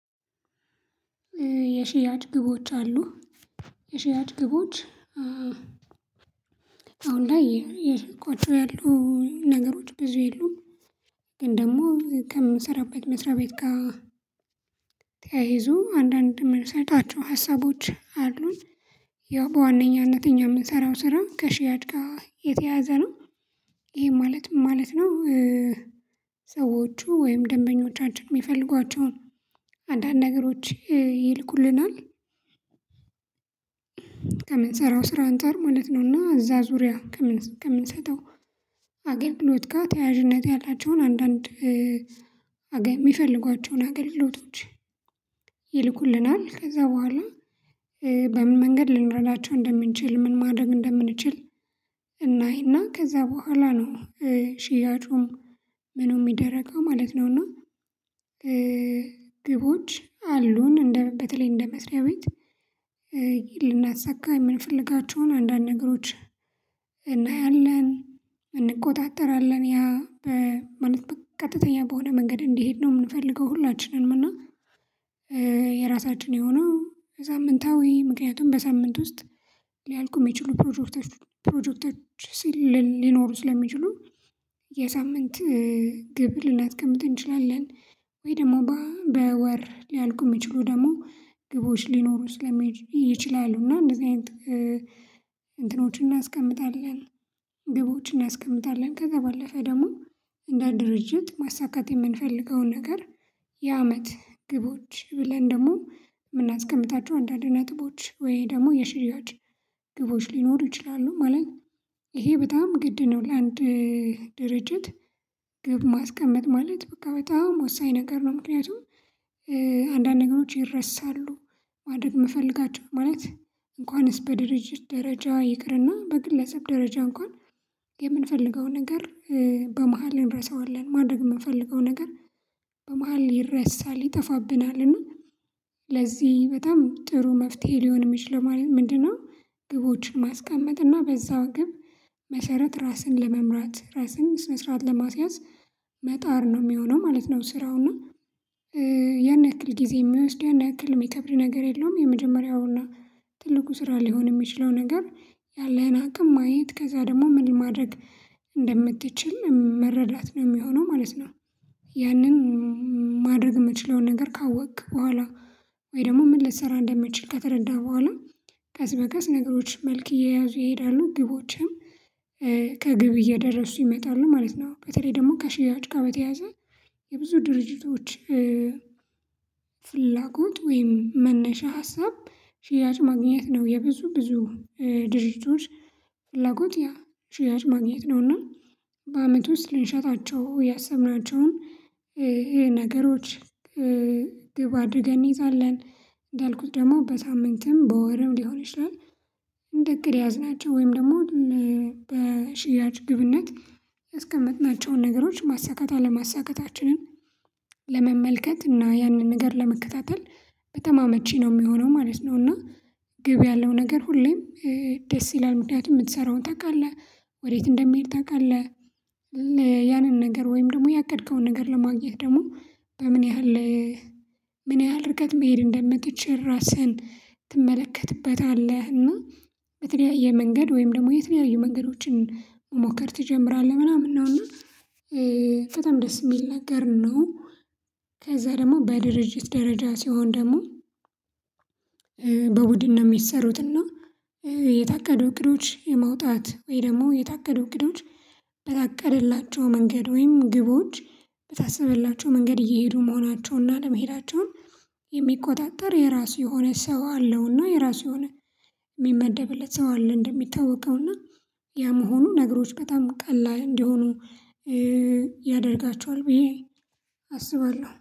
የሽያጭ ግቦች አሉ። የሽያጭ ግቦች አሁን ላይ እየሸጥኳቹ ያሉ ነገሮች ብዙ የሉም። ግን ደግሞ ከምሰራበት ምስራ ቤት ጋ። ተያይዞ አንዳንድ የምንሰርጣቸው ሀሳቦች አሉን። ያው በዋነኛነት እኛ የምንሰራው ስራው ከሽያጭ ጋ የተያዘ ነው። ይሄ ማለት ምን ማለት ነው? ሰዎቹ ወይም ደንበኞቻችን የሚፈልጓቸውን አንዳንድ ነገሮች ይልኩልናል። ከምን ሰራው ስራ አንፃር ማለት ነው እና እዛ ዙሪያ ከምንሰጠው አገልግሎት ጋር ተያያዥነት ያላቸውን አንዳንድ አገ የሚፈልጓቸውን አገልግሎቶች ይልኩልናል። ከዛ በኋላ በምን መንገድ ልንረዳቸው እንደምንችል ምን ማድረግ እንደምንችል እናይና ከዛ በኋላ ነው። ሽያጩም ምኑ የሚደረገው ማለት ነው። እና ግቦች አሉን እንደ በተለይ እንደ መስሪያ ቤት ልናሳካ የምንፈልጋቸውን አንዳንድ ነገሮች። እናያለን እንቆጣጠራለን ያ ማለት በ ቀጥተኛ በሆነ መንገድ እንዲሄድ ነው የምንፈልገው ሁላችንም እና። የራሳችን የሆነው ሳምንታዊ ምክንያቱም በሳምንት ውስጥ ሊያልቁ የሚችሉ ፕሮጀክቶች ፕሮጀክቶች ሲል ሊኖሩ ስለሚችሉ የሳምንት ግብ ልናስቀምጥ እንችላለን። ወይ ደግሞ በወር ሊያልቁ የሚችሉ ደግሞ ግቦች ሊኖሩ ስለሚች ይችላሉ እና እንደዚህ አይነት እንትኖችን እናስቀምጣለን። ግቦችን እናስቀምጣለን ከዛ ባለፈ ደግሞ እንደ ድርጅት ማሳካት የምንፈልገውን ነገር የአመት ግቦች ብለን ደግሞ የምናስቀምጣቸው አንዳንድ ነጥቦች ወይ ደግሞ የሽያጭ ግቦች ሊኖሩ ይችላሉ ማለት ነው። ይሄ በጣም ግድ ነው ለአንድ ድርጅት ግብ ማስቀመጥ ማለት በቃ በጣም ወሳኝ ነገር ነው። ምክንያቱም አንዳንድ ነገሮች ይረሳሉ ማደረግ እምፈልጋቸው ማለት እንኳንስ በድርጅት ደረጃ ይቅርና በግለሰብ ደረጃ እንኳን የምንፈልገው ነገር በመሃል እንረሳዋለን ማድረግ የምንፈልገው ነገር በመሃል ይረሳል ይጠፋብናልና። ለዚህ በጣም ጥሩ መፍትሄ ሊሆን የሚችልው ግቦችን ማስቀመጥ እና በዛው ግብ መሰረት ራስን ለመምራት ራስን ስነ ስርዓት ለማስያዝ መጣር ነው የሚሆነው ማለት ነው። ስራው እና ያን ያክል ጊዜ የሚወስድ ያን ያክል የሚከብድ ነገር የለውም። የመጀመሪያውና ትልቁ ስራ ሊሆን የሚችለው ነገር ያለህን አቅም ማየት ከዛ ደግሞ ምን ማድረግ እንደምትችል መረዳት ነው የሚሆነው ማለት ነው። ያንን ማድረግ የምችለውን ነገር ካወክ በኋላ ወይ ደግሞ ምን ልሰራ እንደምችል ከተረዳህ በኋላ ቀስ በቀስ ነገሮች መልክ እየያዙ ይሄዳሉ ግቦችህም ከግብ እየደረሱ ይመጣሉ ማለት ነው። በተለይ ደግሞ ከሽያጭ ጋር በተያያዘ የብዙ ድርጅቶች ፍላጎት ወይም መነሻ ሀሳብ ሽያጭ ማግኘት ነው። የብዙ ብዙ ድርጅቶች ፍላጎት ያ ሽያጭ ማግኘት ነውና። በአመቱ ስልንሸጣቸው ያሰብናቸውን ይሄ ነገሮች ግብ አድርገን እንይዛለን እንዳልኩት ደግሞ በሳምንትም በወርም ሊሆን ይችላል። እንደ እቅድ ያያዝናቸው ወይም ደግሞ በሽያጭ ግብነት ያስቀመጥናቸውን ነገሮች ማሳካት አለማሳካታችንን ለመመልከት እና ያንን ነገር ለመከታተል በጣም አመቺ ነው የሚሆነው ማለት ነው። እና ግብ ያለው ነገር ሁሌም ደስ ይላል ምክንያት የምትሰራውን ታውቃለህ ወዴት እንደሚሄድ ታውቃለህ። ያንን ነገር ወይም ደግሞ ያቀድከውን ነገር ለማግኘት ደግሞ በምን ያህል ምን ያህል ርቀት መሄድ እንደምትችል ራስህን ትመለከትበታለህ እና በተለያየ መንገድ ወይም ደግሞ የተለያየ መንገዶችን መሞከር ትጀምራለህ ምናምን ነው እና በጣም ደስ የሚል ነገር ነው። ከዛ ደግሞ በድርጅት ደረጃ ሲሆን ደግሞ በቡድን ነው የሚሰሩት። እና የታቀዱ እቅዶች የማውጣት ወይ ደግሞ የታቀዱ እቅዶች በታቀደላቸው መንገድ ወይም ግቦች በታሰበላቸው መንገድ እየሄዱ መሆናቸውንና አለመሄዳቸውን የሚቆጣጠር የራሱ የሆነ ሰው አለውና የራሱ የሆነ የሚመደብለት ሰው አለ እንደሚታወቀው እና ያም ሆኖ ነገሮች በጣም ቀላል እንደሆኑ ያደርጋቸዋል ብዬ አስባለሁ